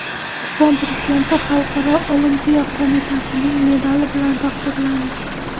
O‘zbekiston Prezidenti Xalqaro olimpiya qo‘mitasining medali bilan taqdirlandi.